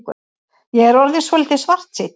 Ég er orðinn svolítið svartsýnn.